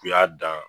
U y'a dan